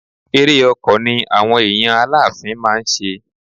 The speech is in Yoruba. Ere ọkọ̀ ni àwọn èèyàn Aláàfin máa ń ṣe.